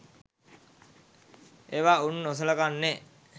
ඒවා උන් නොසලකන්නේ